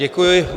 Děkuji.